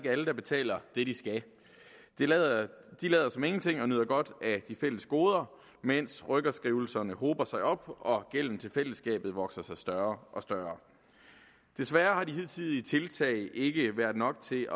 alle der betaler det de skal de lader som ingenting og nyder godt af de fælles goder mens rykkerskrivelserne hober sig op og gælden til fællesskabet vokser sig større og større desværre har de hidtidige tiltag ikke været nok til